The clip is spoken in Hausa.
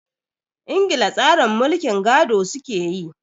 Ingila tsarin mulkin gado su ke yi.